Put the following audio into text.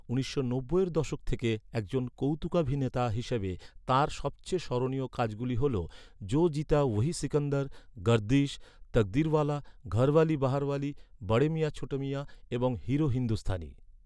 উনিশশো নব্বইয়ের দশক থেকে একজন কৌতুকাভিনেতা হিসেবে তাঁর সবচেয়ে স্মরণীয় কাজগুলি হল 'জো জিতা ওহি সিকন্দর', 'গার্দিশ', 'তকদিরওয়ালা', 'ঘরওয়ালি বাহারওয়ালি', 'বড়ে মিয়াঁ ছোটে মিয়াঁ', এবং 'হিরো হিন্দুস্তানি'।